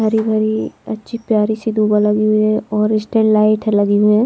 भरी भरी अच्छी प्यारी सी दूबा लगी हुई है और स्टैंड लाइट लगी हुई हैं।